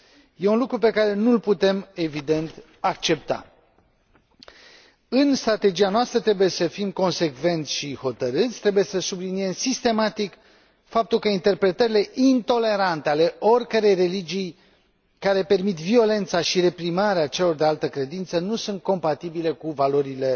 Este un lucru pe care nu l putem, evident, accepta. În strategia noastră trebuie să fim consecvenți și hotărâți, trebuie să subliniem sistematic faptul că interpretările intolerante ale oricărei religii, care permit violența și reprimarea celor de altă credință, nu sunt compatibile cu valorile